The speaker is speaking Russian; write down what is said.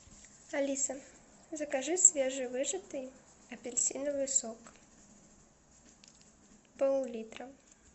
алиса закажи свежевыжатый апельсиновый сок пол литра